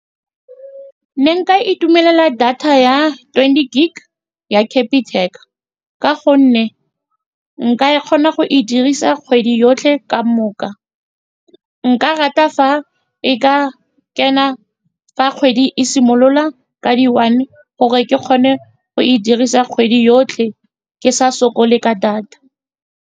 Ne nka itumelela data ya twenty gig ya Capitec, ka gonne nka e kgona go e dirisa kgwedi yotlhe ka moka. Nka rata fa e ka kena fa kgwedi e simolola ka di-one, gore ke kgone go e dirisa kgwedi yotlhe ke sa sokole ka data.